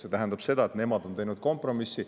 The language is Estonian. See tähendab seda, et nemad on teinud kompromissi.